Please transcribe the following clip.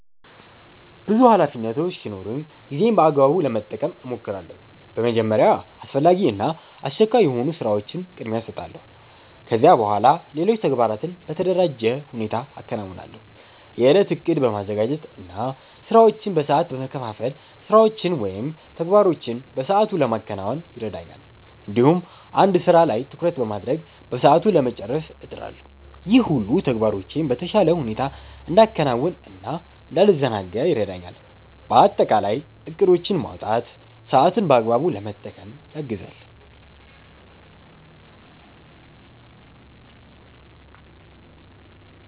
ብዙ ኃላፊነቶች ሲኖሩኝ ጊዜዬን በአግባቡ ለመጠቀም እሞክራለሁ። በመጀመሪያ አስፈላጊ እና አስቸኳይ የሆኑ ስራዎችን ቅድሚያ እሰጣለሁ። ከዚያ በኋላ ሌሎች ተግባራትን በተደራጀ ሁኔታ አከናውናለሁ። የእለት እቅድ በማዘጋጀት እና ስራዎችን በሰዓት በመከፋፈል ስራዎችን ወይም ተግባሮችን በሰአቱ ለማከናወን ይረዳኛል። እንዲሁም አንድ ስራ ላይ ትኩረት በማድረግ በሰዓቱ ለመጨረስ እጥራለሁ። ይህ ሁሉ ተግባራቶቼን በተሻለ ሁኔታ እንዳከናውን እና እንዳልዘናጋ ይረዳኛል። በአጠቃላይ እቅዶችን ማውጣት ሰአትን በአግባቡ ለመጠቀም ያግዛል።